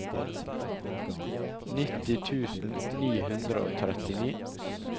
nitti tusen ni hundre og trettini